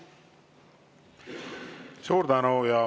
Suur tänu!